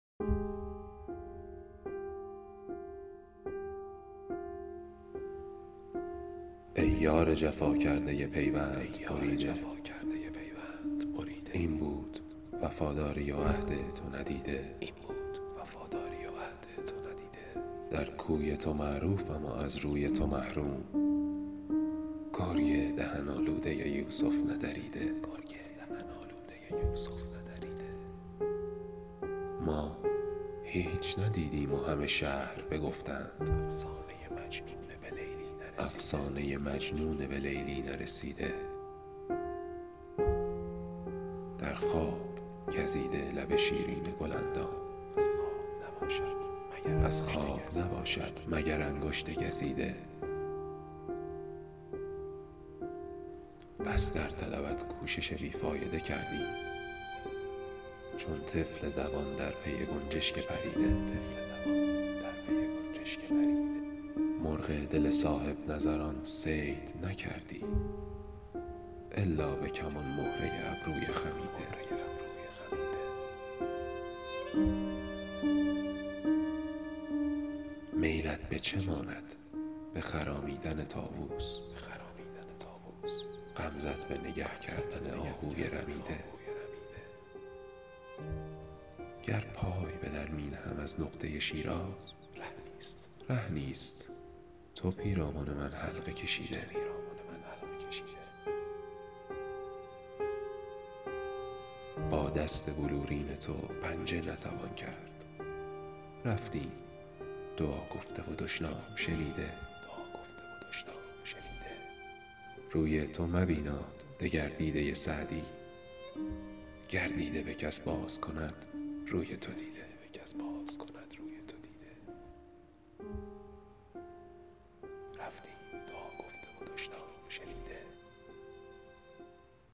ای یار جفا کرده پیوند بریده این بود وفاداری و عهد تو ندیده در کوی تو معروفم و از روی تو محروم گرگ دهن آلوده یوسف ندریده ما هیچ ندیدیم و همه شهر بگفتند افسانه مجنون به لیلی نرسیده در خواب گزیده لب شیرین گل اندام از خواب نباشد مگر انگشت گزیده بس در طلبت کوشش بی فایده کردیم چون طفل دوان در پی گنجشک پریده مرغ دل صاحب نظران صید نکردی الا به کمان مهره ابروی خمیده میلت به چه ماند به خرامیدن طاووس غمزه ت به نگه کردن آهوی رمیده گر پای به در می نهم از نقطه شیراز ره نیست تو پیرامن من حلقه کشیده با دست بلورین تو پنجه نتوان کرد رفتیم دعا گفته و دشنام شنیده روی تو مبیناد دگر دیده سعدی گر دیده به کس باز کند روی تو دیده